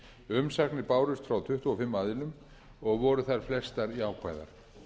umsagnir bárust frá tuttugu og fimm aðilum og voru þær flestar jákvæðar